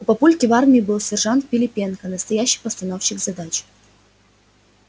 у папульки в армии был сержант пилипенко настоящий постановщик задач